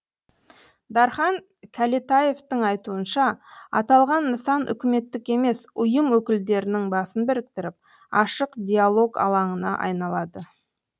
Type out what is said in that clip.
дархан кәлетаевтың айтуынша аталған нысан үкіметтік емес ұйым өкілдерінің басын біріктіріп ашық диолог алаңына айналады